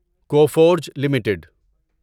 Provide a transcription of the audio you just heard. Coforge limited